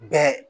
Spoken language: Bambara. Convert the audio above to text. Bɛɛ